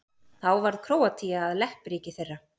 Þá varð Króatía að leppríki þeirra.